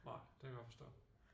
Nej det kan jeg godt forstå